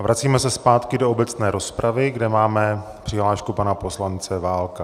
A vracíme se zpátky do obecné rozpravy, kde máme přihlášku pana poslance Válka.